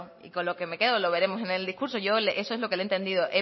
y con lo que me quedo lo veremos en el discurso eso es lo que le he entendido